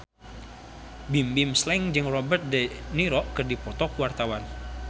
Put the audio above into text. Bimbim Slank jeung Robert de Niro keur dipoto ku wartawan